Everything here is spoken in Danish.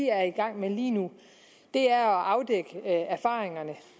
er i gang med lige nu er at afdække de erfaringer